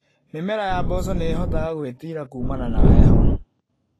Mĩmera ya mboco nĩ ĩhotaga gwĩtira kumana na heho.